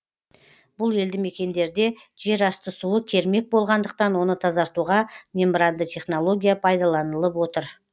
бұл елді мекендерде жер асты суы кермек болғандықтан оны тазартуға мембранды технология пайдаланылып отыр